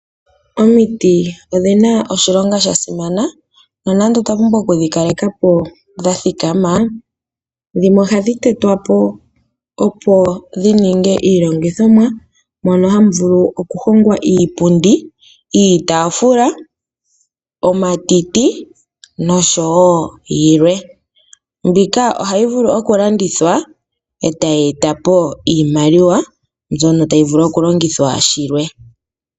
Omiti odhi na oshilonga sha simana nonando otwa pumbwa oku dhi kaleka po dha thikama, dhimwe ohadhi tetwa po, opo dhi ninge iilongithomwa mono hamu vulu okuhongwa iipundi, iitaafula, omatemba nosho wo yilwe. Mbika ohayi vulu okulandithwa e tayi eta po iimaliwa mbyono tayi vulu okulongithwa shilwe.